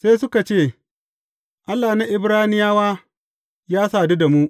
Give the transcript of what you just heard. Sai suka ce, Allah na Ibraniyawa ya sadu da mu.